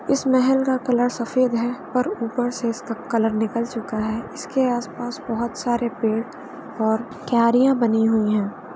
इस महल का कलर सफेद है और ऊपर से इसका कलर निकल चुका है। इसके आसपास बहुत सारे पेड़ और क्यारियाँ बनी हुई हैं।